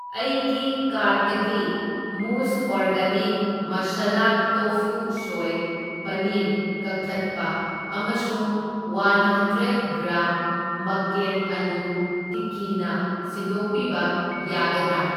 ꯑꯩꯒꯤ ꯀꯥꯔꯠꯇꯒꯤ ꯃꯨꯖ organic masala tofu soy paneer ꯀꯛꯊꯠꯄ ꯑꯃꯁꯨꯡ ꯋꯥꯍꯟꯗ꯭ꯔꯦꯗ ꯒ꯭ꯔꯥꯝ ꯃꯛꯀꯦꯟ ꯑꯂꯨ ꯇꯤꯛꯀꯤꯅ ꯁꯤꯟꯗꯣꯛꯄꯤꯕ ꯌꯥꯒꯗ꯭ꯔꯥ?